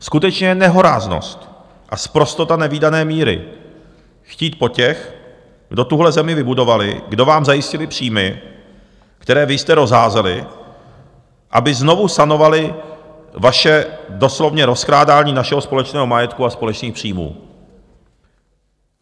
Skutečně je nehoráznost a sprostota nevídané míry chtít po těch, kdo tuhle zemi vybudovali, kdo vám zajistili příjmy, které vy jste rozházeli, aby znovu sanovali vaše doslovně rozkrádání našeho společného majetku a společných příjmů.